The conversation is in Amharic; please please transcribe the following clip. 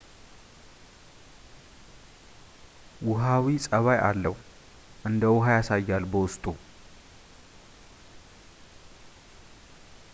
ውሃዊ ጸባይ አለው እንደውሃ ያሳያል በውስጡ